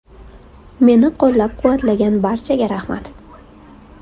Meni qo‘llab-quvvatlagan barchaga rahmat.